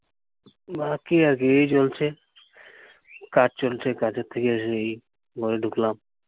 বাকি আর কী। এই চলছে। কাজ চলছে। কাজের থেকে এসে এই ঘরে ঢুকলাম।